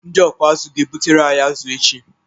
Ndị ọkụ azụ ga-ebutere anyị azụ echi.